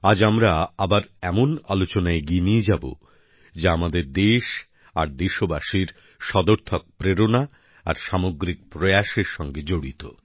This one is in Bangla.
আজ আমরা এমন বিষয়ে আলোচনা এগিয়ে নিয়ে যাব যা আমাদের দেশ আর দেশবাসীর সদর্থক প্রেরণা আর সামগ্রিক প্রয়াসের সঙ্গে জড়িত